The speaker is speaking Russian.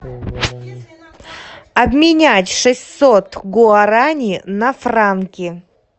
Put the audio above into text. обменять шестьсот гуарани на франки